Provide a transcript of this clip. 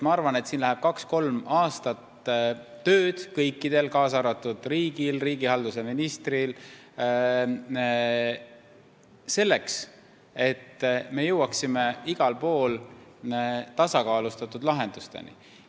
Ma arvan, et siin on vaja kaks-kolm aastat töötada kõikidel, kaasa arvatud riigil ja riigihalduse ministril, selleks et me jõuaksime igal pool tasakaalustatud lahendusteni.